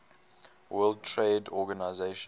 world trade organization